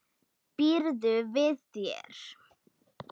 Býður við þér.